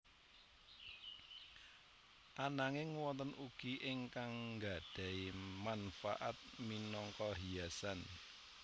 Ananging wonten ugi ingkang nggadhahi mangfaat minangka hiasan